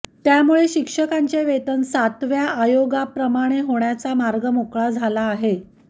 त्यामुळे शिक्षकांचे वेतन सातव्या आयोगा प्रमाणे होण्याचा मार्ग मोकळा झाला आहे